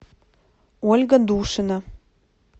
ольга душина